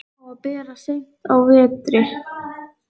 Á að bera seint á vetri.